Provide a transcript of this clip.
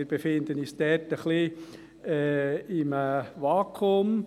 Wir befinden uns ein wenig in einem Vakuum.